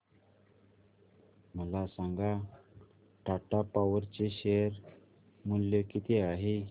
मला सांगा टाटा पॉवर चे शेअर मूल्य किती आहे